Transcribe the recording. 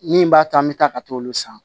Min b'a to an bɛ taa ka t'olu san